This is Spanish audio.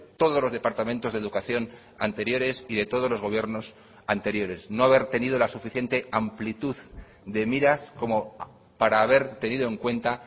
todos los departamentos de educación anteriores y de todos los gobiernos anteriores no haber tenido la suficiente amplitud de miras como para haber tenido en cuenta